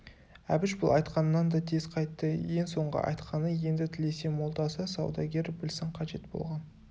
әбіш бұл айтқанынан да тез қайтты ең соңғы айтқаны енді тілесе молдасы саудагері білсін қажет болған